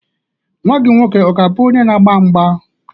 Nwa gị nwoke ọ ga-abụ onye na-agba mgba?